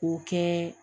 O kɛ